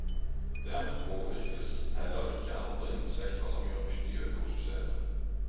Dermed påvirkes heller ikke andre insekter som gjør nytte i økosystemet.